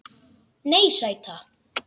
Nei, sæta.